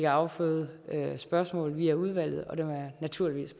afføde spørgsmål via udvalget og dem er jeg naturligvis